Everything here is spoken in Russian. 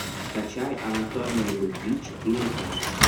скачай анатомия любви четыре ка